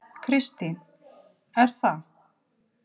Kristín: Er það?